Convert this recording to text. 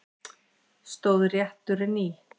Stóð rétturinn í